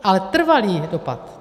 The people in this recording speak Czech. Ale trvalý dopad.